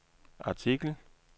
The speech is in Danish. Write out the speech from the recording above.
artikel